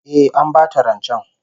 Eh, An bata rancen